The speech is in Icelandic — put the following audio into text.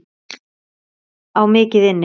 Á mikið inni.